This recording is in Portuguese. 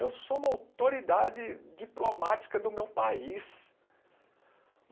Eu sou uma autoridade diplomática do meu país.